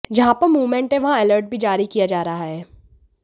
जहां पर मूवमेंट है वहां अलर्ट भी जारी किया जा रहा है